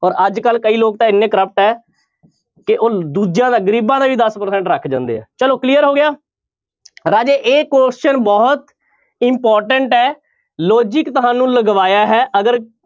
ਔਰ ਅੱਜ ਕੱਲ੍ਹ ਕਈ ਲੋਕ ਤਾਂ ਇੰਨੇ corrupt ਹੈ ਕਿ ਉਹ ਦੂਜਿਆਂ ਦਾ ਗ਼ਰੀਬਾਂ ਦਾ ਹੀ ਦਸ percent ਰੱਖ ਜਾਂਦੇ ਹੈ ਚਲੋ clear ਹੋ ਗਿਆ ਰਾਜੇ ਇਹ question ਬਹੁਤ important ਹੈ logic ਤੁਹਾਨੂੰ ਲਗਵਾਇਆ ਹੈ ਅਗਰ